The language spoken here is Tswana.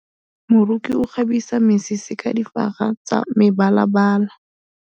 Moroki o kgabisa mesese ka difaga tsa mebalabala.